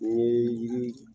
N'i ye